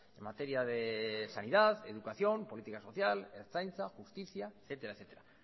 en materia de sanidad educación política social ertzaintza justicia etcétera